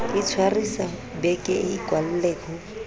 itshwarisa be ke ikwalle ho